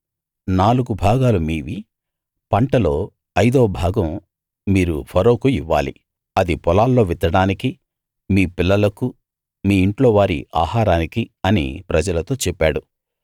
నాలుగు భాగాలు మీవి పంటలో అయిదవ భాగం మీరు ఫరోకు ఇవ్వాలి అది పొలాల్లో విత్తడానికీ మీ పిల్లలకూ మీ ఇంట్లోవారి ఆహారానికి అని ప్రజలతో చెప్పాడు